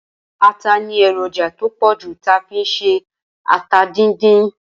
Ata ni èròjà to pòjù ti a n fi ṣe ata díndín.